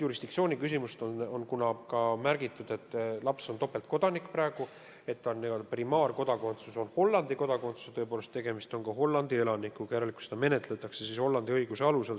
Kuna laps on praegu topeltkodanik ja tema n-ö primaarkodakondsus on Hollandi kodakondsus ning, tõepoolest, tegemist on ka Hollandi elanikuga, siis menetletakse seda probleemi Hollandi õiguse alusel.